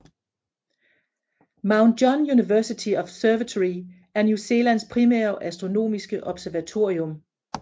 Mount John University Observatory er New Zealands primære astronomiske observatorium